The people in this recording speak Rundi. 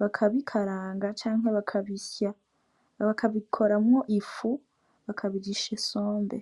bakabikaranga canke bakabisya bakabikoramwo ifu bakabirisha isombe.